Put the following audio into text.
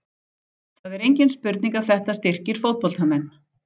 Það er engin spurning að þetta styrkir fótboltamenn.